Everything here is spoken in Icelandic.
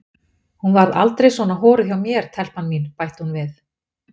Hún varð aldrei svona horuð hjá mér telpan mín, bætti hún við.